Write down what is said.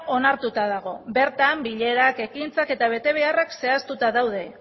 onartuta dago bertan bilerak ekintzak eta betebeharrak zehaztuta daude